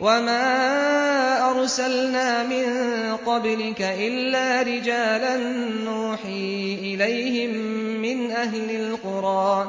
وَمَا أَرْسَلْنَا مِن قَبْلِكَ إِلَّا رِجَالًا نُّوحِي إِلَيْهِم مِّنْ أَهْلِ الْقُرَىٰ ۗ